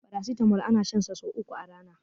paracetamol ana shan sa sai uku a Rana